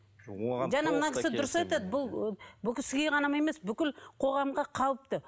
жаңа мына кісі дұрыс айтады бұл бұл кісіге ғана емес бүкіл қоғамға қауіпті